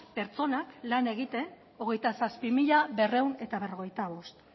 pertsonak lan egiten hogeita zazpi mila berrehun eta berrogeita bost